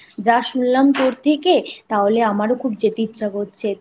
যা শুনলাম তোর থেকে তাহলে আমারও খুব যেতে